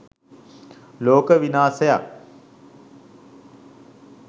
ලෝක විනාසයක්.